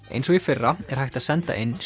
eins og í fyrra er hægt að senda inn